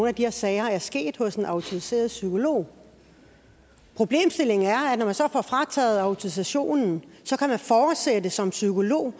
af de her sager er sket hos en autoriseret psykolog problemstillingen er at når man så får frataget autorisationen kan man fortsætte som psykolog